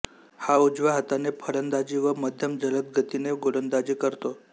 हा उजव्या हाताने फलंदाजी व मध्यमजलदगती गोलंदाजी करतो